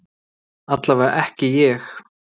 Allavega ekki ég.